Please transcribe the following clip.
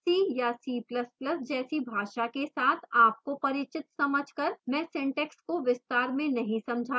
c या c ++ जैसी भाषा के साथ आपको परिचित समझ कर मैं syntax को विस्तार में नहीं समझा रही हूँ